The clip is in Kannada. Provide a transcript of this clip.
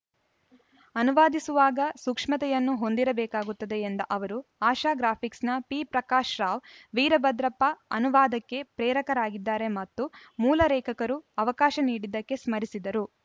ಅನುವಾದಿಸುವಾಗ ಸೂಕ್ಷ್ಮತೆಯನ್ನು ಹೊಂದಿರಬೇಕಾಗುತ್ತದೆ ಎಂದ ಅವರು ಆಶಾ ಗ್ರಾಫಿಕ್ಸ್‌ನ ಪಿಪ್ರಕಾಶ ರಾವ್‌ ವೀರಭದ್ರಪ್ಪ ಅನುವಾದಕ್ಕೆ ಪ್ರೇರಕರಾಗಿದ್ದರೆ ಮತ್ತು ಮೂಲ ಲೇಖಕರು ಅವಕಾಶ ನೀಡಿದ್ದಕ್ಕೆ ಸ್ಮರಿಸಿದರು